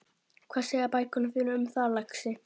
Hvað segja bækurnar þínar um það, lagsi?